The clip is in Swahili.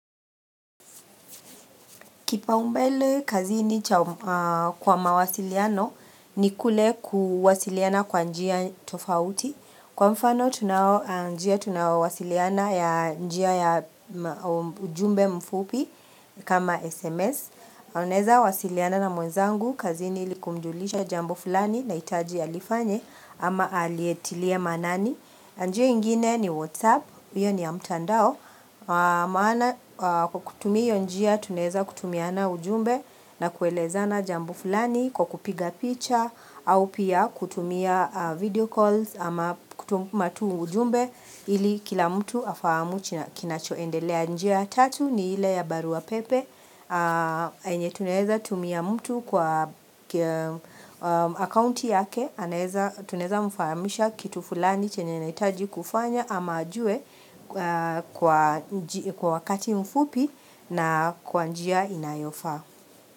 Kipaumbele kazini kwa mawasiliano ni kule kuwasiliana kwa njia tofauti. Kwa mfano tunawasiliana ya njia ya ujumbe mfupi kama SMS. Naweza wasiliana na mwenzangu. Kazini ili kumjulisha jambo fulani naitaji alifanye ama alietilie manani. Njia ingine ni Whatsapp, hiyo niya mtandao, maana kwa kutumia njia tunaweza kutumiana ujumbe na kuelezana jambo fulani kwa kupiga picha au pia kutumia video calls ama kutuma tu ujumbe ili kila mtu afamu kinachoendelea. Njia ya tatu ni ile ya barua pepe, yenye tunaweza tumia mtu kwa akaunti yake, tunaweza mfahamisha kitu fulani chenye anahitaji kufanya ama ajue kwa wakati mfupi na kwa njia inayofaa.